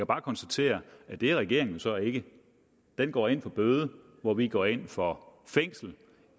bare konstatere at det er regeringen så ikke den går ind for bøde hvor vi går ind for fængsel